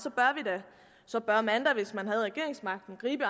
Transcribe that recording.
så bør man da hvis man har regeringsmagten gribe